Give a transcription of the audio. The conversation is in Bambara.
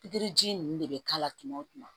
Pikiriji ninnu de bɛ k'a la tuma o tuma